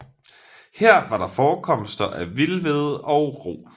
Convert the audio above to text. Her var der forekomster af vild hvede og rug